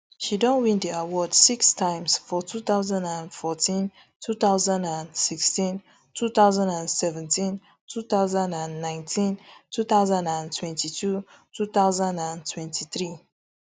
she don win di award six times for two thousand and fourteen two thousand and sixteen two thousand and seventeen two thousand and nineteen two thousand and twenty-two two thousand and twenty-three